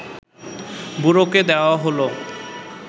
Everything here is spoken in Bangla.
বুড়োকে দেওয়া হল